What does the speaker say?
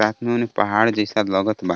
पहाड़ जइसा लगत बा.